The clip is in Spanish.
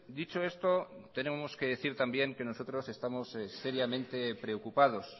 dicho esto tenemos que decir también que nosotros estamos seriamente preocupados